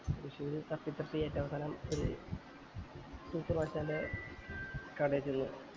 തൃശൂര് തപ്പി തപ്പി ഈറ്റ അവസാനം മൂത്തുമ്മാശൻറെ കടേ ച്ചെന്നു